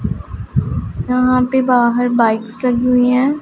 यहां पे बाहर बाइक्स लगी हुई हैं।